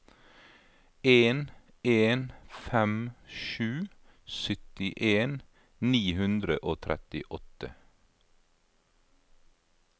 en en fem sju syttien ni hundre og trettiåtte